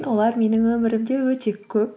олар менің өмірімде өте көп